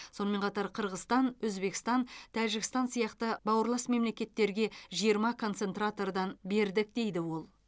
сонымен қатар қырғызстан өзбекстан тәжікстан сияқты бауырлас мемлекеттерге жиырма концентратордан бердік дейді ол